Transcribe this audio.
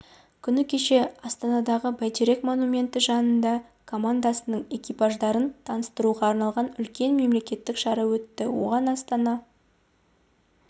күні кеше астанадағы бәйтерек монументі жанында командасының экипаждарын таныстыруға арналған үлкен мерекелік шара өтті оған астана